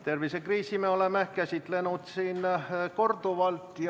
Tervisekriisi me oleme käsitlenud siin korduvalt.